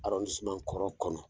kɔrɔ kɔnɔ.